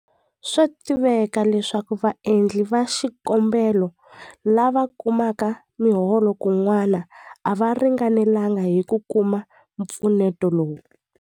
Swa tiveka leswaku vaendli va xikombelo lava kumaka miholo kun'wana a va ringanelanga hi ku kuma mpfuneto lowu.